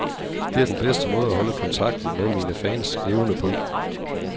Det er den bedste måde at holde kontakten med mine fans levende på.